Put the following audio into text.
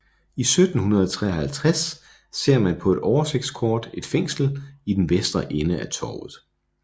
I 1753 ser man på et oversigtskort et fængsel i den vestre ende af torvet